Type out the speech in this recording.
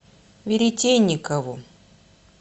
веретенникову